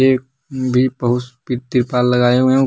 एक भी बहुत भी तिरपाल लगाए हुए हैं।